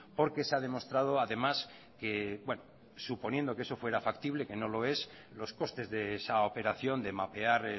porque se ha demostrado además que suponiendo que eso fuera factible que no lo es los costes de esa operación de mapear